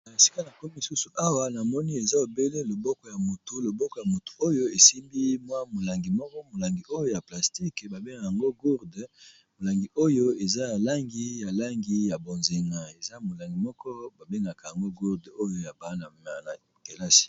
Na esika na ko lisusu awa namoni eza obele loboko ya motu loboko ya motu oyo esimbi mwa molangi moko molangi oyo ya plastique ba bengaka yango gourde molangi oyo eza ya langi ya langi ya bonzena eza molangi moko ba bengaka yango gourde oyo ya bana ya kelasi.